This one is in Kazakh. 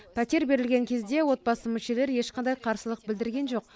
пәтер берілген кезде отбасы мүшелері ешқандай қарсылық білдірген жоқ